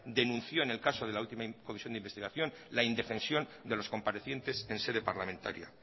denunció en el caso de la última comisión de investigación la indefensión de los comparecientes en sede parlamentaria